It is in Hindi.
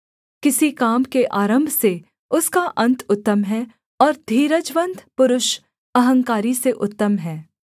किसी काम के आरम्भ से उसका अन्त उत्तम है और धीरजवन्त पुरुष अहंकारी से उत्तम है